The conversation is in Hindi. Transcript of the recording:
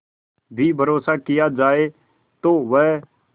भी भरोसा किया जाए तो वह